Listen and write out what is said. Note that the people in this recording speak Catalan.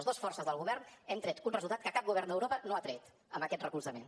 les dues forces del govern hem tret un resultat que cap govern d’europa no ha tret amb aquest recolzament